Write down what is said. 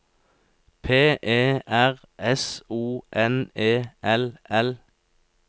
P E R S O N E L L